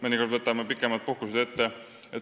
Mõnikord võtame ette pikemaid puhkusi.